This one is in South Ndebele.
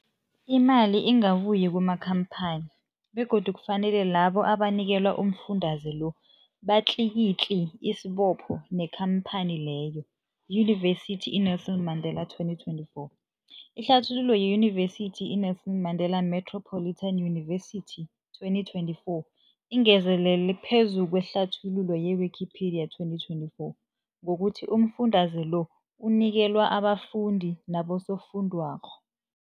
Imali ingabuyi kumakhamphani begodu kufanele labo abanikelwa umfundaze lo batlikitliki isibopho neenkhamphani leyo, Yunivesity i-Nelson Mandela 2024. Ihlathululo yeYunivesithi i-Nelson Mandela Metropolitan University, 2024, ingezelele phezu kwehlathululo ye-Wikipedia, 2024, ngokuthi umfundaze lo unikelwa abafundi nabosofundwakgho.